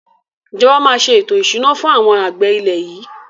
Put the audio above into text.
Ìjọba máa se ètò ìṣúná fún àwọn àgbẹ̀ ilẹ̀ yìí